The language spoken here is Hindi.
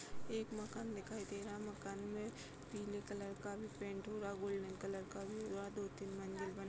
एक मकान दिखाई दे रहा। मकान में पीले कलर का भी पेंट हो रहा। गोल्डेन कलर का भी हो रहा। दो-तीन मंजिल बना --